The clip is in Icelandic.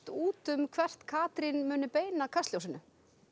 út um hvert Katrín muni beina kastljósinu